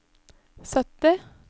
sytti